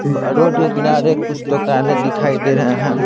Road के किनारे कुछ तोकाने दिखाई दे रहे हैं।